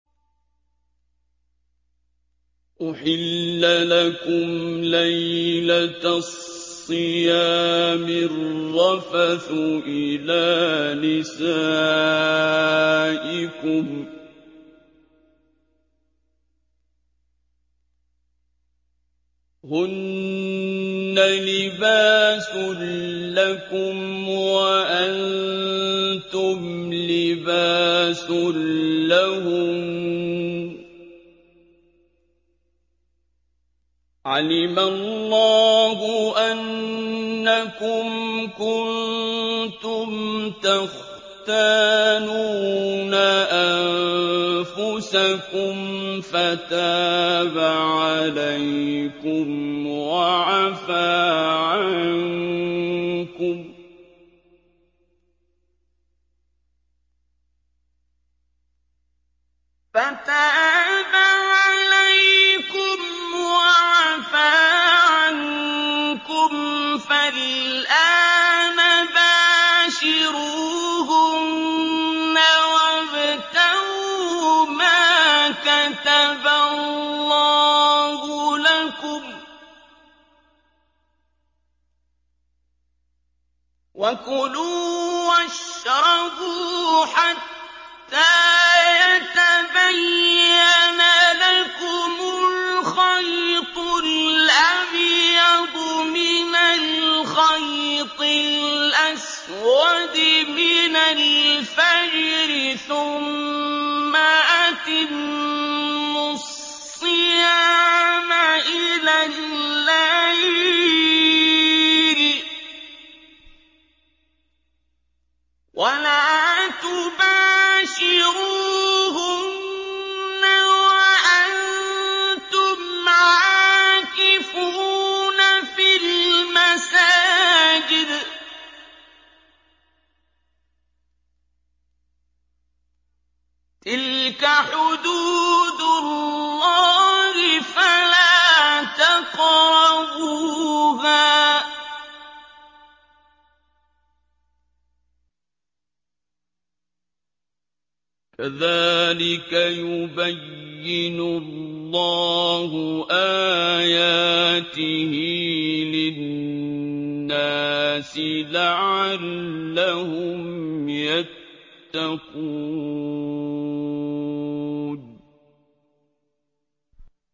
أُحِلَّ لَكُمْ لَيْلَةَ الصِّيَامِ الرَّفَثُ إِلَىٰ نِسَائِكُمْ ۚ هُنَّ لِبَاسٌ لَّكُمْ وَأَنتُمْ لِبَاسٌ لَّهُنَّ ۗ عَلِمَ اللَّهُ أَنَّكُمْ كُنتُمْ تَخْتَانُونَ أَنفُسَكُمْ فَتَابَ عَلَيْكُمْ وَعَفَا عَنكُمْ ۖ فَالْآنَ بَاشِرُوهُنَّ وَابْتَغُوا مَا كَتَبَ اللَّهُ لَكُمْ ۚ وَكُلُوا وَاشْرَبُوا حَتَّىٰ يَتَبَيَّنَ لَكُمُ الْخَيْطُ الْأَبْيَضُ مِنَ الْخَيْطِ الْأَسْوَدِ مِنَ الْفَجْرِ ۖ ثُمَّ أَتِمُّوا الصِّيَامَ إِلَى اللَّيْلِ ۚ وَلَا تُبَاشِرُوهُنَّ وَأَنتُمْ عَاكِفُونَ فِي الْمَسَاجِدِ ۗ تِلْكَ حُدُودُ اللَّهِ فَلَا تَقْرَبُوهَا ۗ كَذَٰلِكَ يُبَيِّنُ اللَّهُ آيَاتِهِ لِلنَّاسِ لَعَلَّهُمْ يَتَّقُونَ